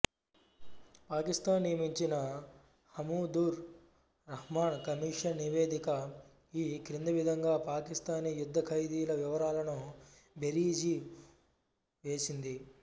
పాకిస్తాన్ నియమించిన హమూదుర్ రహ్మాన్ కమిషన్ నివేదిక ఈ క్రింది విధంగా పాకిస్తానీ యుద్ధఖైదీల వివరాలను బేరీజు వేసింది